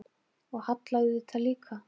Og Halla auðvitað líka.